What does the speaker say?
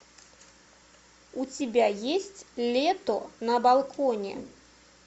у тебя есть лето на балконе